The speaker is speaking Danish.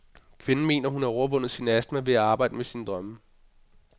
Kvinden mener, at hun har overvundetvundet sin astma ved at arbejde med sine drømme.